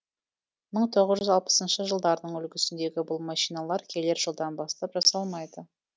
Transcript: мың тоғыз жүз алпысыншы жылдардың үлгісіндегі бұл машиналар келер жылдан бастап жасалмайды